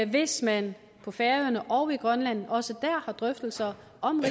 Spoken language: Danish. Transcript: hvis man på færøerne og i grønland også der har drøftelser om